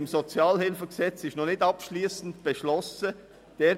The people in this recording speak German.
Die Umsetzung des SHG ist noch nicht abschliessend beschlossen worden.